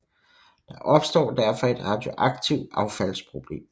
Der opstår derfor et radioaktivt affalds problem